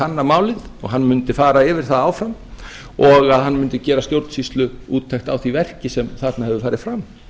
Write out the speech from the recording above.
kanna málið og hann mundi fara yfir það áfram og að hann mundi gera stjórnsýsluúttekt á því verki sem þarna hefur farið fram